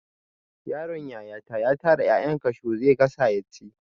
Yaron yayata ya tara 'ya'yan kashu zai gasa yaci.